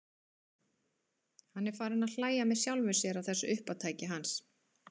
Hann er farinn að hlæja með sjálfum sér að þessu uppátæki hans.